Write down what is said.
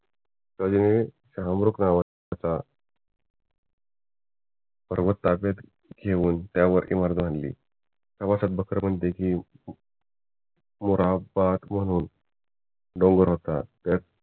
हे नावाचा पर्वतलागत घेवून त्यावरती बांधली प्रवासात म्हणते कि मुराह्बाद म्हणून डोंगर होता